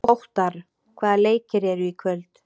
Óttarr, hvaða leikir eru í kvöld?